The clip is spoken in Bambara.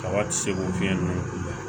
Kaba ti se k'o fiɲɛ ninnu kunbɛn